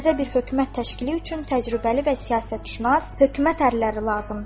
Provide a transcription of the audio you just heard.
Təzə bir hökumət təşkili üçün təcrübəli və siyasətşünas hökumət ərlləri lazımdır.